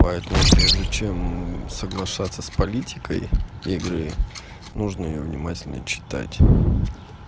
поэтому прежде чем соглашаться с политикой игры нужно её внимательно читать